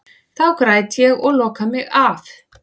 Þá græt ég og loka mig af.